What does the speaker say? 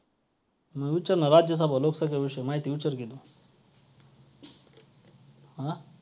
तुम्ही त्यांची मदत केली नाही किंवा त्यांना अन्न prop~